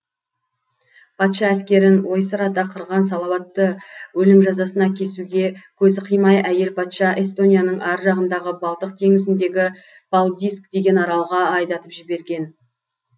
патша әскерін ойсырата қырған салауатты өлім жазасына кесуге көзі қимай әйел патша эстонияның ар жағындағы балтық теңізіндегі палдиск деген аралға айдатып жіберген